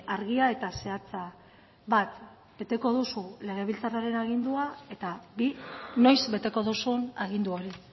argia eta zehatza bat beteko duzu legebiltzarraren agindua eta bi noiz beteko duzun agindu hori